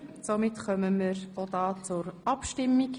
Somit kommen wir auch hier zur Abstimmung.